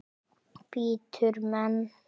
Bítur menn?